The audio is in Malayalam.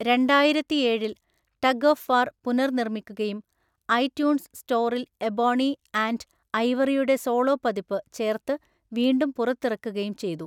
രണ്ടായിരത്തിഏഴില്‍ ടഗ് ഓഫ് വാർ പുനർനിർമ്മിക്കുകയും ഐട്യൂൺസ് സ്റ്റോറിൽ എബോണി ആൻഡ് ഐവറിയുടെ സോളോ പതിപ്പ് ചേർത്ത് വീണ്ടും പുറത്തിറക്കുകയും ചെയ്തു.